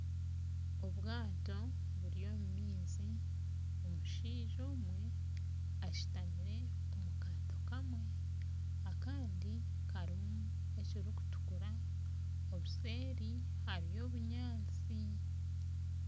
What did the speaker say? Obwato buri omu maizi omushaija omwe ashutamire omu kaato kamwe Kandi karimu ekirikutukura obuseeri hariyo obunyatsi